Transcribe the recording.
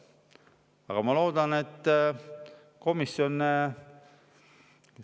Aga ma loodan, et komisjon …